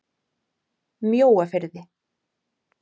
Mjóafirði